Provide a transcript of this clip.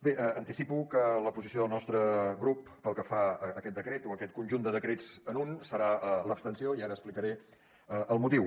bé anticipo que la posició del nostre grup pel que fa a aquest decret o a aquest conjunt de decrets en un serà l’abstenció i ara n’explicaré el motiu